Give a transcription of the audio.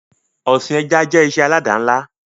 Ọsìn ẹja jẹ́ ìṣe alada ńlá